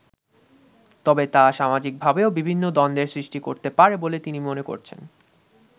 তবে তা সামাজিকভাবেও বিভিন্ন দ্বন্দ্বের সৃষ্টি করতে পারে বলে তিনি মনে করছেন।